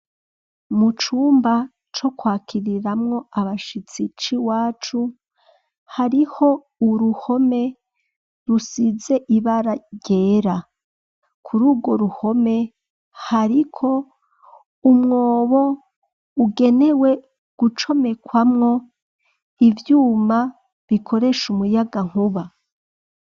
Mu cumba, co kwakiririmwo abashitsi c'iwacu, hariho uruhome, rusize ibara ryera; kuri urwo ruhome, hariko umwobo, ugenewe gucomekwamwo ivyuma, bikoresha umuyagankuba.